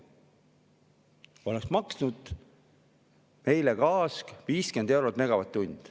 Siis oleks gaas maksnud meile 50 eurot megavatt-tunni eest.